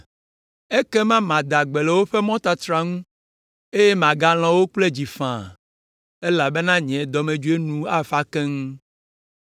“Ekema mada gbe le woƒe mɔtatra ŋu, eye magalɔ̃ wo kple dzi faa, elabena nye dɔmedzoe nu afa keŋ.